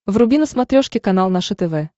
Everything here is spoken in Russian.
вруби на смотрешке канал наше тв